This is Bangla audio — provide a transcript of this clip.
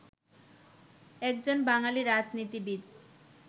একজন বাঙালি রাজনীতিবিদ